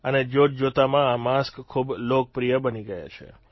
અને જોતજોતાંમાં આ માસ્ક ખૂબ લોકપ્રિય બની ગયા છે